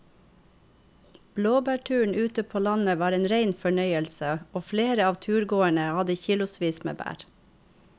Blåbærturen ute på landet var en rein fornøyelse og flere av turgåerene hadde kilosvis med bær.